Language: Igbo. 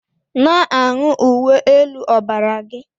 Na-aṅụ uwe elu ọbara gị!